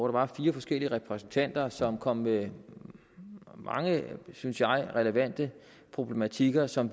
var fire forskellige repræsentanter som kom med mange synes jeg relevante problematikker som